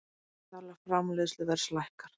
Vísitala framleiðsluverðs lækkar